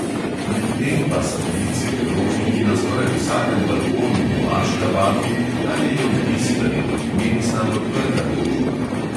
Medtem pa satelitski krožniki na skoraj vsakem balkonu v aškabadu dajejo vtis, da je turkmenistan odprta družba.